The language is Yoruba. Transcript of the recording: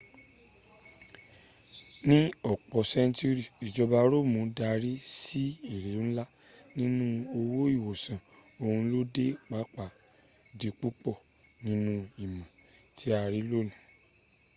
ni opo senturi ijoba roomu dari si ere nla ninu owo iwosan oun lo de papa di pupo ninu imo ti a ni loni